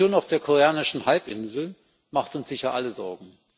Die Situation auf der koreanischen Halbinsel macht uns sicher allen Sorgen.